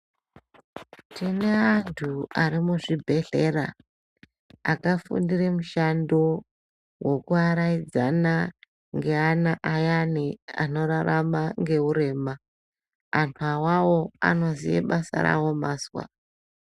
Tine antu ari muzvibhedhlera akafundira mushando wekuaraidza neantu ayane anorarama neurema ,antu awawo anoziya basa rawo mazwa .